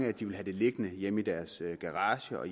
at de vil have det liggende hjemme i garager i garager